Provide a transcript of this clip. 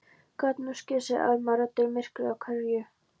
Gat nú skeð sagði Elma, röddin myrkvuð af kergju.